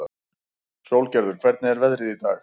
Sólgerður, hvernig er veðrið í dag?